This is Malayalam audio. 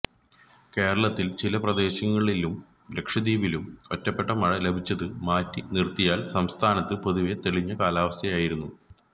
കേരളത്തില് ചില പ്രദേശങ്ങളിലും ലക്ഷദ്വീപിലും ഒറ്റപ്പെട്ട മഴ ലഭിച്ചത് മാറ്റി നിര്ത്തിയാല് സംസ്ഥാനത്ത് പൊതുവേ തെളിഞ്ഞ കാലാവസ്ഥയായിരുന്നു